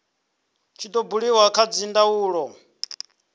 tshi do buliwa kha dzindaulo